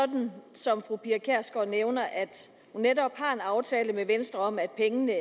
sådan som fru pia kjærsgaard nævner at hun netop har en aftale med venstre om at pengene